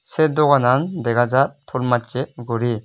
sey doganan dagajar ton masey guri.